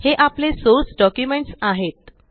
हे आपले source documents आहेत